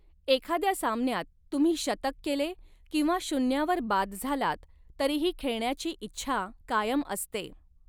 एखाद्या सामन्यात तुम्ही शतक केले किंवा शुन्यावर बाद झालात तरीही खेळण्याची इच्छा कायम असते.